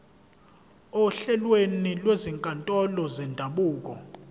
ohlelweni lwezinkantolo zendabuko